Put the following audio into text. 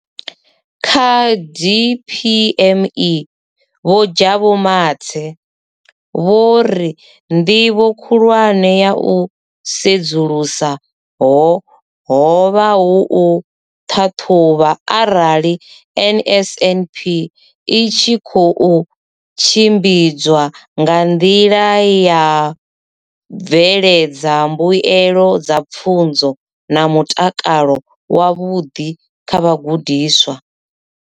Kha DPME, Vho Jabu Mathe, vho ri nḓivho khulwane ya u sedzulusa ho vha u ṱhaṱhuvha arali NSNP i tshi khou tshimbidzwa nga nḓila ine ya bveledza mbuelo dza pfunzo na mutakalo wavhuḓi kha vhagudiswa.